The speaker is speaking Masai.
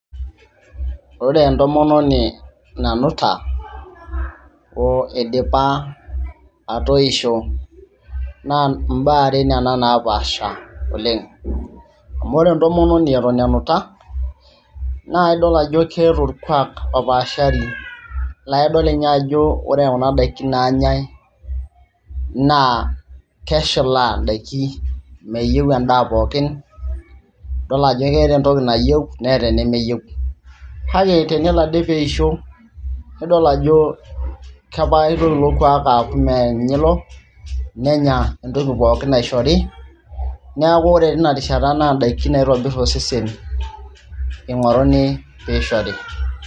ore entomononi nanuta oidipa atoisho naa imbaa are nana napaasha oleng amu ore entomononi eton enuta naa idol ajo keeta orkuak opaashari laidol ninye ajo ore kuna daiki nanyae naa keshilaa indaiki meyieu endaa pookin idol ajo keeta entoki nayieu neeta enemeyieu kake tenelo ade peisho nidol kepaa itoki ilo kuak aaku meninye ilo nenya entoki pookin naishori niaku ore tinarishata naa indaikin naitobirr osesen ing'oruni piishori.